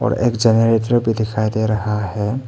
और एक जनरेटर भी दिखाई दे रहा है।